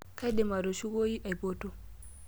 Kaidim atushukoyi aipoto.